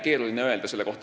Keeruline öelda.